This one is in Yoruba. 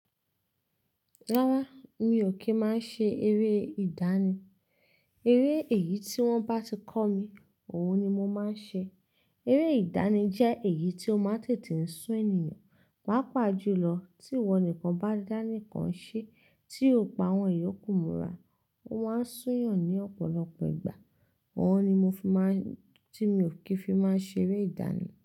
Rárá, mi ò kí máa ṣe eré ìdánì. Eré èyí tí wọ́n bá ti kọ́ mi, òun ni mo máa ń ṣe. Eré ìdánì jẹ́ èyí tí ó máa tètè ń sún ènìyàn, pàápàá jùlọ tí ìwọ nìkan bá dánìkan ṣe tí o pa àwọn ìyókù múra. Ó máa ń sún eeyan ní ọ̀pọ̀lọpọ̀ ìgbà. Òun ni mo fi máa ń, tí mi ò kì í fi máa ń ṣe eré ìdánì.